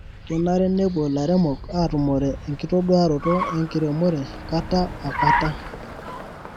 kenare nepuo ilairemok atumore enkitoduaroto enkiremo kata o kata.